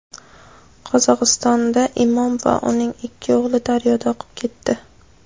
Qozog‘istonda imom va uning ikki o‘g‘li daryoda oqib ketdi.